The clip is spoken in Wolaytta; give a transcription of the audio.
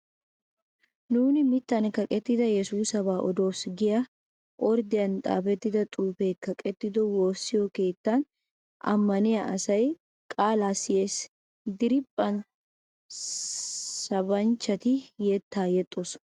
Nuuni mittan kaqettida Yesuusaba odoos giya orddiyan xaafetta xuufetee kaqettido woossiyo keettan ammaniya asay qaalaa siyes. Diriiphphan sabanchchati yettaa yexxoosona.